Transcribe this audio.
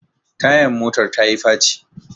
Tayan motar tayi faci